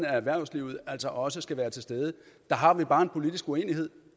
erhvervslivet altså også skal være til stede der har vi bare en politisk uenighed